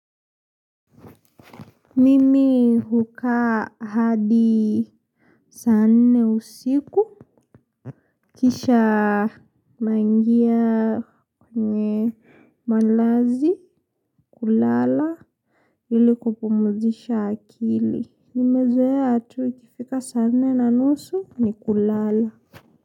Mimi hukaa hadi saa nne usiku. Kisha naingia kwenye malazi kulala ili kupumzisha akili. Nimezoea tu ikifika saa nne na nusu ni kulala.